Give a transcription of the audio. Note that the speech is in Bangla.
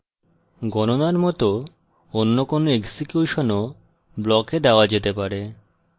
গণনার মত any কোনো এক্সিকিউশনও block দেওয়া যেতে পারে